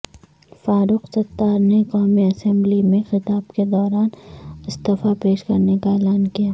فاروق ستار نے قومی اسمبلی میں خطاب کے دوران استفی پیش کرنے کا اعلان کیا